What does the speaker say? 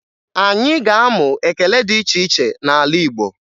Anyị ga-amụ ekele dị iche iche n'ala Igbo